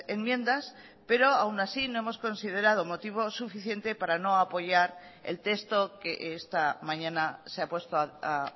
enmiendas pero aún así no hemos considerado motivo suficiente para no apoyar el texto que esta mañana se ha puesto a